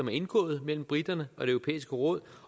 er indgået mellem briterne og det europæiske råd